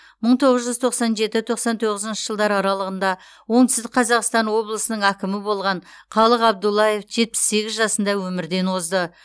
мың тоғыз жүз тоқсан жеті тоқсан тоғызыншы жылдар аралығында оңтүстік қазақстан облысының әкімі болған қалық абдуллаев жетпіс сегіз жасында өмірден озды